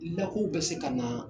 Lakɔw be se ka na